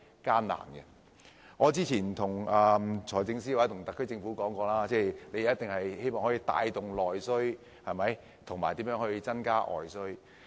正如我之前跟財政司司長和特區政府說過，我們應該帶動內需及增加外需。